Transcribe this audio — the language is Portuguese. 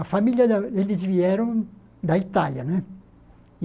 A família, eles vieram da Itália, né?